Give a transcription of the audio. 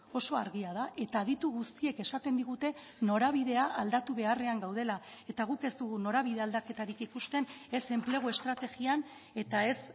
oso argia da eta aditu guztiek esaten digute norabidea aldatu beharrean gaudela eta guk ez dugu norabide aldaketarik ikusten ez enplegu estrategian eta ez